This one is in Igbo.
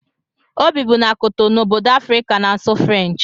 O bibu na Kotonou, obodo Afrịka na-asụ Frenchi